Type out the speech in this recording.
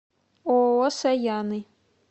ооо саяны